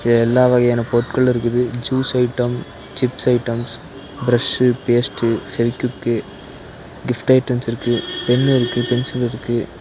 இங்க எல்லா வகையான பொருட்களு இருக்குது juice items chip items brush paste Fevikwik gift items இருக்கு பென்னு இருக்கு பென்சில் இருக்கு.